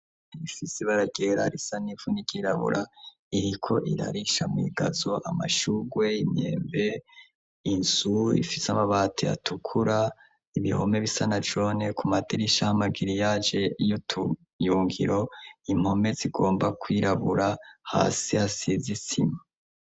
Ifisibaragerarisa n'imfuni ikirabura iriko irarisha mw'igazo amashurwe imyemve insu ifise amabati atukura ibihome bisana jone ku maderisha ho amagiri yaje y'utuyungiro impome zigomba kwirabura hasi ha sizisima.